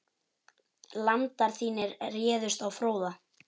Landar þínir réðust á Fróða.